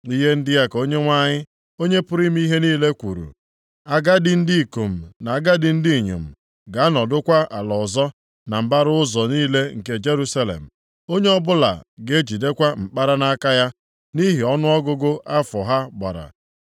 Ihe ndị a ka Onyenwe anyị, Onye pụrụ ime ihe niile kwuru, “Agadi ndị ikom na agadi ndị inyom ga-anọdụkwa ala ọzọ na mbara ụzọ niile nke Jerusalem, onye ọbụla ga-ejidekwa mkpara nʼaka ya + 8:4 E ji mara ndị agadi. nʼihi ọnụọgụgụ afọ ha gbara.